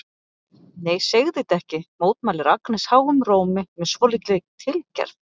Nei, segðu þetta ekki, mótmælir Agnes háum rómi með svolítilli tilgerð.